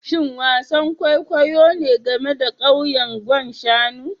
Shin wasan kwaikwayo ne game da kauyen Gwan Shanu